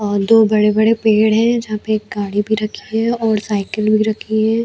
और दो बड़े -बड़े पेड़ है जहाँ पे एक गाड़ी भी रखी है और साइकिल भी ऱखी हैं।